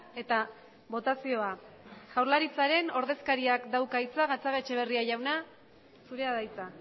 eta botazioa jaurlaritzaren ordezkariak dauka hitza gatzagaetxebarria jauna zurea da hitza